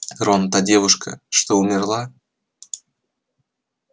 рон та девушка что умерла